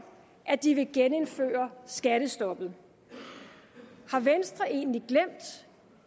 at de vil genindføre skattestoppet har venstre egentlig glemt